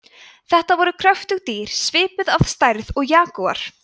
þetta voru kröftug dýr svipuð að stærð og jagúar